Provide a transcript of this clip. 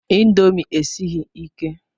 Índomi esighi ike